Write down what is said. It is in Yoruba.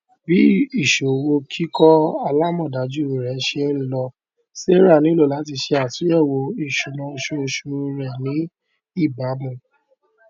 bí ìṣòwò kíkọ alamọdájú rẹ ṣe ń lọ sarah nílò láti ṣe àtúnyẹwò isúnà oṣooṣu rẹ ní ìbámu